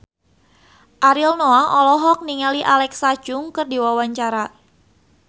Ariel Noah olohok ningali Alexa Chung keur diwawancara